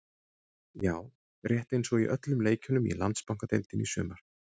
Já, rétt eins og í öllum leikjunum í Landsbankadeildinni í sumar.